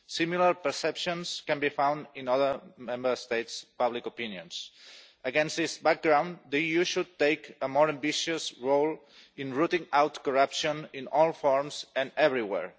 Similar perceptions can be found in other Member States' public opinions. Against this background, the EU should take a more ambitious role in rooting out corruption in all forms and everywhere.